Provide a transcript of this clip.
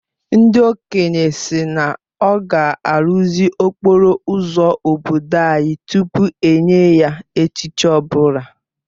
Ndị okenye sị na ọ ga-arụzi okporo ụzọ obodo anyị tupu enye ya echichi ọ bụla